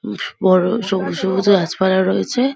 উফ বড়ো সবুজ সবুজ গাছপালা রয়েছে।